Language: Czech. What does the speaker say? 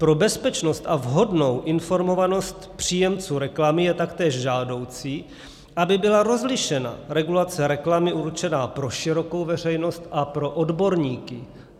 Pro bezpečnost a vhodnou informovanost příjemců reklamy je taktéž žádoucí, aby byla rozlišena regulace reklamy určená pro širokou veřejnost a pro odborníky.